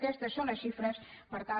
aquestes són les xifres per tant